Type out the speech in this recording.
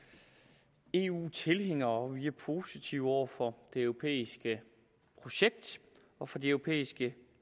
i eu tilhængere og vi er positive over for det europæiske projekt og for det europæiske